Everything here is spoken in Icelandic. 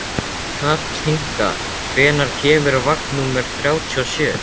Kathinka, hvenær kemur vagn númer þrjátíu og sjö?